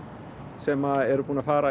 sem að eru búnir að fara